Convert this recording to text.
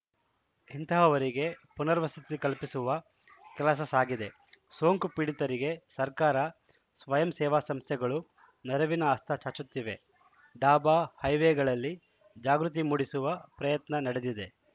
ಇಂತಹವರಿಗೆ ಪುನರ್ವಸತಿ ಕಲ್ಪಿಸುವ ಕೆಲಸ ಸಾಗಿದೆ ಸೋಂಕು ಪೀಡಿತರಿಗೆ ಸರ್ಕಾರ ಸ್ವಯಂ ಸೇವಾ ಸಂಸ್ಥೆಗಳು ನೆರವಿನ ಹಸ್ತ ಚಾಚುತ್ತಿವೆ ಡಾಬಾ ಹೈವೇಗಳಲ್ಲಿ ಜಾಗೃತಿ ಮೂಡಿಸುವ ಪ್ರಯತ್ನ ನಡೆದಿದೆ